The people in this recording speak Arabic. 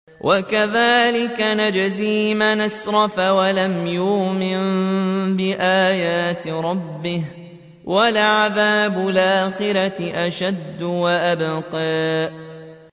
وَكَذَٰلِكَ نَجْزِي مَنْ أَسْرَفَ وَلَمْ يُؤْمِن بِآيَاتِ رَبِّهِ ۚ وَلَعَذَابُ الْآخِرَةِ أَشَدُّ وَأَبْقَىٰ